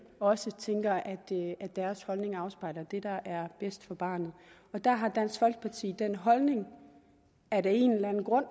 også tænker at deres holdning afspejler det der er bedst for barnet og der har dansk folkeparti den holdning at af en eller anden grund